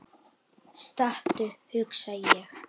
Stattu, hugsa ég.